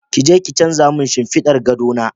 Kije ki canza min shinfiɗar gado na.